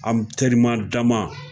An terima dama